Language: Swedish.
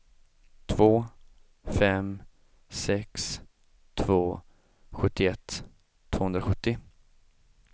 två fem sex två sjuttioett tvåhundrasjuttio